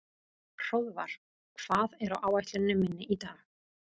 Hróðvar, hvað er á áætluninni minni í dag?